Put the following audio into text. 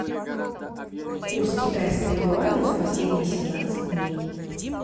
курс китайского юаня за последние семнадцать дней